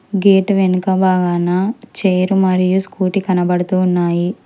Gate వెనుక భాగనా chair మరియు స్కూటీ కనబడుతున్నాయి.